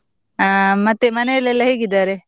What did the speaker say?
ಹ ಮತ್ತೆ ಮನೆಯಲ್ಲೆಲ್ಲ ಹೇಗಿದ್ದಾರೆ?